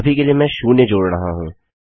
अभी के लिए मैं शून्य जोड़ रहा हूँ